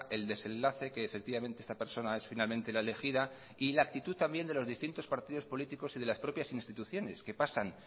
el desenlace que efectivamente esta persona es finalmente la elegida y la actitud también de los distintos partidos políticos y de las propias instituciones que pasan